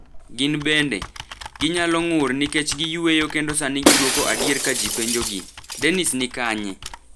Gin bende, ginyalo ng’ur nikech giyueyo kendo sani gidwoko adier ka ji penjogi; Dennis ni kanye?